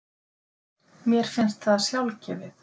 Mér fannst það sjálfgefið.